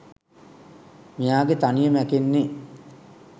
මෙයාගෙ තනිය මැකෙන්නෙ.